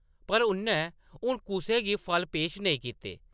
पर उʼन्नै हुन कुसै गी फल पेश नेईं कीते।